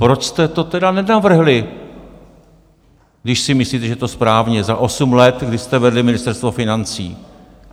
Proč jste to tedy nenavrhli, když si myslíte, že je to správně, za osm let, kdy jste vedli Ministerstvo financí?